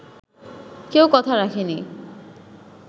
কেউ কথা রাখেনি